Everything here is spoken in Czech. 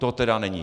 To tedy není.